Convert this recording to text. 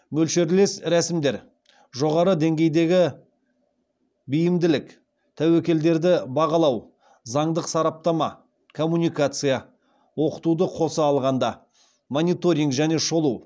мөлшерлес рәсімдер жоғары деңгейдегі бейімділік тәуекелдерді бағалау заңдық сараптама коммуникация мониторинг және шолу